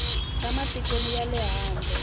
ta matiko ya le handle